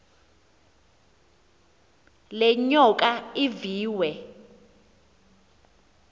le nyoka iviwe